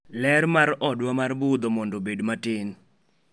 ler mar odwa mar budho mondo obed matin